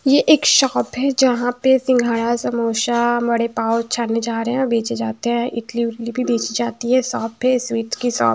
ये एक शॉप है जहां पे सिंघाड़ा समोसा बड़े पाव छाने जा रहे हैं और बेचे जाते है इडली वीडली भी बेची जाती है शॉप है स्वीट की शॉप --